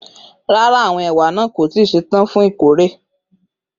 Rara, awọn ewa naa ko ti ṣetan fun ikore.